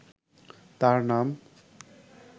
তার নাম